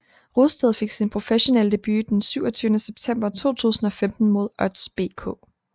Rosted fik sin professionelle debut den 27 september 2015 mod Odds BK